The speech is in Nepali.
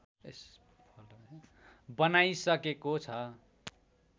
बनाइसकेको छ